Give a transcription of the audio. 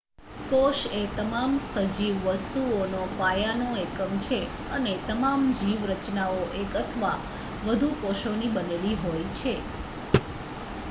કોશએ તમામ સજીવ વસ્તુઓનો પાયાનો એકમ છે અને તમામ જીવ રચનાઓ એક અથવા વધુ કોશોની બનેલી હોય છે